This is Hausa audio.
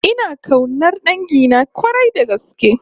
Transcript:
Ina kaunar dangina k'warai da gaske